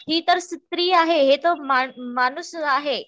हि तर स्त्री आहे माणूस आहे